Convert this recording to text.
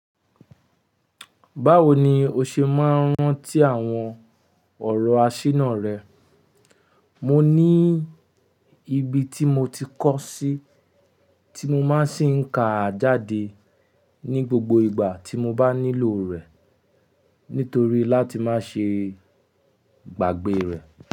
Báwo ni o ṣe máa ń rántí àwọn ọ̀rọ̀ asíná rẹ? Mo ní ibi tí mo ti kọ́ sí, tí mo má ń sì ń ka jáde ní gbogbo ìgbà tí mo bá nílò rẹ̀, nítorí láti má ṣe gbàgbé rẹ̀.